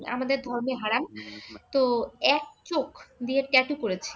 আমাদের ধর্মে হারাম, তো এক চোখ দিয়ে tattoo করেছে।